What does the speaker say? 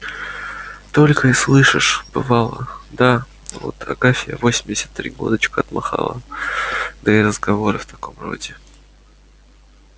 только и слышишь бывало да вот агафья восемьдесят три годочка отмахала да и разговоры в таком роде